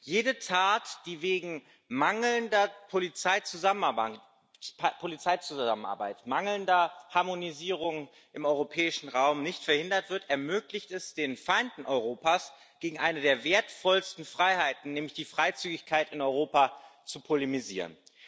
Jede Tat, die wegen mangelnder Polizeizusammenarbeit, mangelnder Harmonisierung im europäischen Raum nicht verhindert wird, ermöglicht es den Feinden Europas, gegen eine der wertvollsten Freiheiten, nämlich die Freizügigkeit in Europa, zu polemisieren.